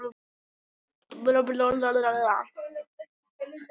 Þau eignuðust fimm börn